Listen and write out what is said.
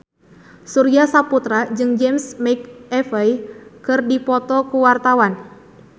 Surya Saputra jeung James McAvoy keur dipoto ku wartawan